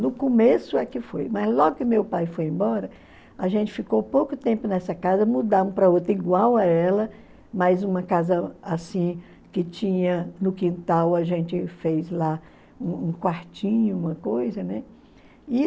No começo é que foi, mas logo que meu pai foi embora, a gente ficou pouco tempo nessa casa, mudamos para outra igual a ela, mas uma casa assim que tinha no quintal, a gente fez lá um quartinho, uma coisa, né?